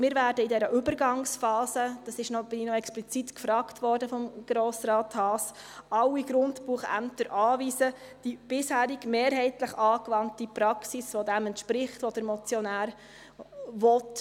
Wir werden in dieser Übergangsphase, nach der mich Grossrat Haas explizit gefragt hat, alle Grundbuchämter anweisen, die bisher mehrheitlich angewandte Praxis umzusetzen, welche dem entspricht, was der Motionär will.